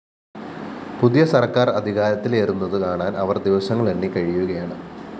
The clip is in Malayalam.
പുതിയ സര്‍ക്കാര്‍ അധികാരത്തിലേറുന്നതു കാണാന്‍ അവര്‍ ദിവസങ്ങളെണ്ണി കഴിയുകയാണ്